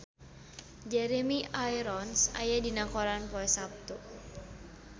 Jeremy Irons aya dina koran poe Saptu